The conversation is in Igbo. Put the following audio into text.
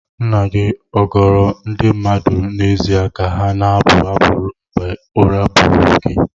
Nna gị ọ goro ndị mmadụ n'ezie ka ha na-abụ abụ ruo mgbe ụra buuru gị?